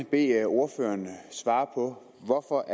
bede ordføreren om at svare på hvorfor